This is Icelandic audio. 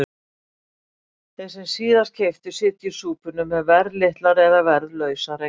Þeir sem síðast keyptu sitja í súpunni með verðlitlar eða verðlausar eignir.